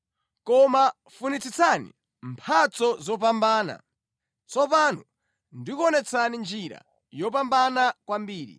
Koma funitsitsani mphatso zopambana. Tsopano ndikuonetsani njira yopambana kwambiri.